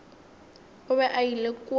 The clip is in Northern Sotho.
o be a ile kua